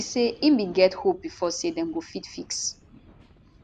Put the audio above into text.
e say e bin get hope bifor say dem go fit fix